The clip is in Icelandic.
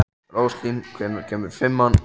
Róslín, hvenær kemur fimman?